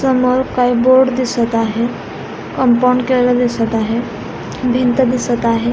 समोर काही बोर्ड दिसत आहे कंपाऊंड केलेल दिसत आहे भिंत दिसत आहे.